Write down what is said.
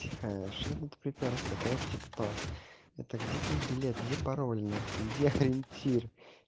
тихо что ты тут припёрся ты вообще кто это где твой билет где пароль нахуй где ориентир